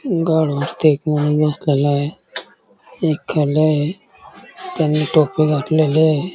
गाडवा वरती एक मुल बसलेल आहे एक खाली आहे त्यानी टोपी घातलेली आहे.